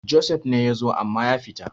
Joseph ne ya zo amma ya fita